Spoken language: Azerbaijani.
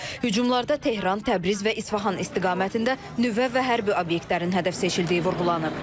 Hücumlarda Tehran, Təbriz və İsfahan istiqamətində nüvə və hərbi obyektlərin hədəf seçildiyi vurğulanıb.